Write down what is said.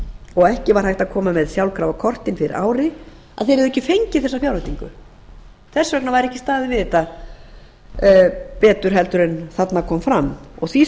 og ekki var hægt að koma með sjálfkrafa kortin fyrir ári að þeir hefðu ekki fengið bera fjárveitingu þess vegna væri ekki staðið við þetta betur en þarna kom fram því